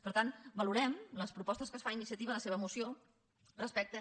per tant valorem les propostes que ens fa iniciativa a la seva moció al respecte